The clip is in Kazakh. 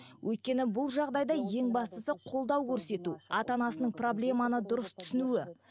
өйткені бұл жағдайда ең бастысы қолдау көрсету ата анасының проблеманы дұрыс түсінуі